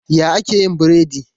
Ya ake yin biredi?